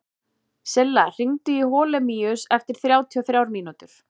Silla, hringdu í Holemíus eftir þrjátíu og þrjár mínútur.